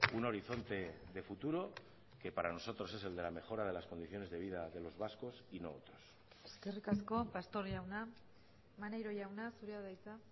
un horizonte de futuro que para nosotros es el de la mejora de las condiciones de vida de los vascos y no otros eskerrik asko pastor jauna maneiro jauna zurea da hitza